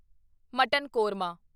mutton korma